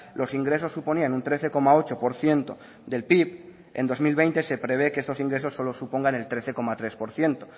los ingresos suponían un trece coma ocho por ciento del pib en dos mil veinte se prevé que estos ingresos solo supongan el trece coma tres por ciento